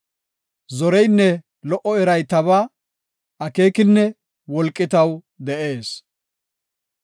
Zoreynne lo77o eray tabaa; akeekinne wolqi taw de7ees.